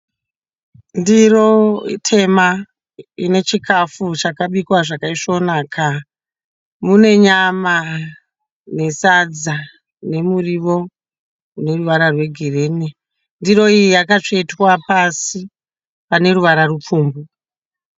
Ndiro itema inechikafu chakabikwa zvakaisvonaka, mune nyama nesadza nemuriwo une ruvara rwegirini. Ndiro iyi yakatsvetwa pasi pane ruvara rupfumbu.